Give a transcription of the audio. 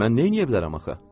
Mən neyləyə bilərəm axı?